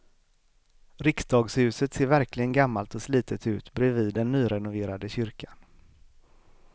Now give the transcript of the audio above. Riksdagshuset ser verkligen gammalt och slitet ut bredvid den nyrenoverade kyrkan.